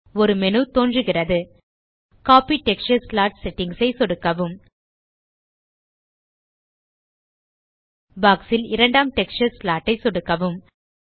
ஒரு மேனு தோன்றுகிறது copy texture slot settings ஐ சொடுக்கவும் பாக்ஸ் ல் இரண்டாம் டெக்ஸ்சர் ஸ்லாட் ஐ சொடுக்கவும்